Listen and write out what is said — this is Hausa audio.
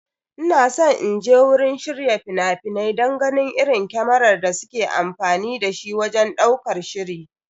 Ina san inje wurin shirya fina-finai don ganin irin kamarar da suke amfani da shi wajen ɗaukar shiri.